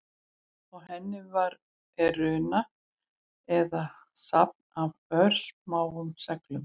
Á henni er runa eða safn af örsmáum seglum.